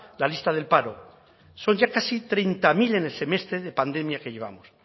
la lista del paro son ya casi treinta mil en el semestre de pandemia que llevamos